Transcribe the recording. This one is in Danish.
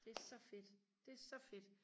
det så fedt det så fedt